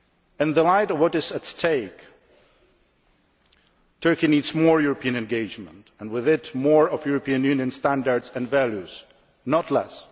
In the light of what is at stake, Turkey needs more European engagement and, with it, more of the European Union's standards and values, not less.